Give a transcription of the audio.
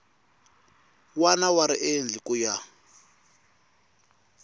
wana wa riendli ku ya